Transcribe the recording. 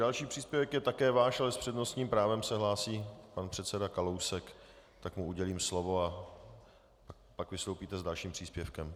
Další příspěvek je také váš, ale s přednostním právem se hlásí pan předseda Kalousek, tak mu udělím slovo, a pak vystoupíte s dalším příspěvkem.